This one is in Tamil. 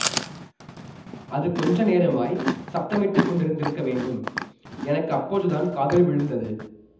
அது கொஞ்ச நேரமாய்ச் சப்தமிட்டுக் கொண்டிருந்திருக்க வேண்டும் எனக்கு அப்போதுதான் காதில் விழுந்தது